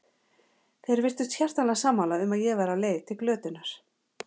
Þeir virtust hjartanlega sammála um að ég væri á leið til glötunar.